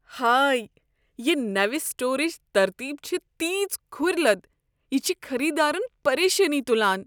ہاے! یہ نٔو سٹورٕچ ترتیب چھےٚ تیٖژ کھرۍلد۔ یہ چھ خریدارن پریشٲنی تلان۔